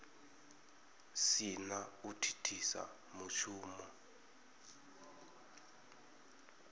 si na u thithisa mushumo